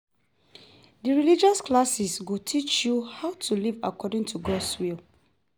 Dem religious classes go teach you how to live according to God's word.